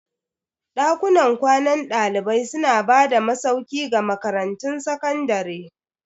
Dakunan kwanan dalibai suna ba da masauki ga makarantun sakandare.